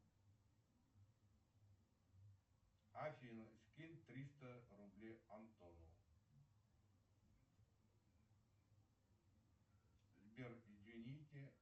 афина скинь триста рублей антону сбер измените